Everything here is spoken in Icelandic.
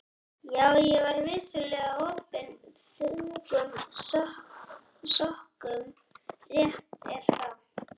Já, ég var vissulega orpinn þungum sökum, rétt er það.